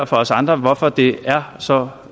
for os andre hvorfor det er så